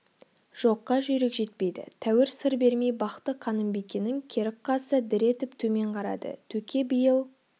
жоққа жүйрік жетпейді тәуір сыр бермей бақты қанымбикенің керік қасы дір етіп төмен қарады төке биыл